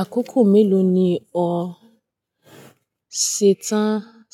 Àkókò mélòó ni o